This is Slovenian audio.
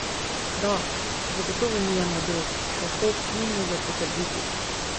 Da zagotovo ni jemal drog, pa Hof ni mogel potrditi.